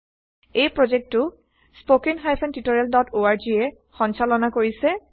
এই প্ৰজেক্টটো httpspoken tutorialorg এ সঞ্চালনা কৰিছে